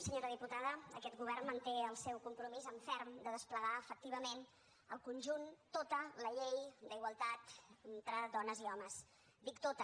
senyora diputada aquest govern manté el seu compromís en ferm de desplegar efectivament el conjunt tota la llei d’igualtat entre dones i homes dic tota